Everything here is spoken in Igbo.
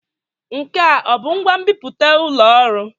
Nke a ọ bụ ngwa nbipute ụlọ ọrụ?